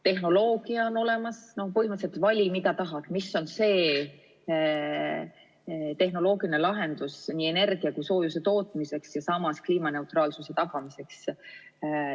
Tehnoloogia on olemas, põhimõtteliselt vali, mida tahad, mis on see tehnoloogiline lahendus nii energia kui ka soojuse tootmiseks ja samas kliimaneutraalsuse tagamiseks.